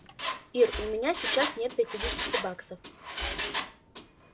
ир у меня сейчас нет пятидесяти баксов